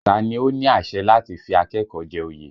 Ta ni ó ní àṣẹ láti fi akẹ́kọ̀ọ́ jẹ oyè?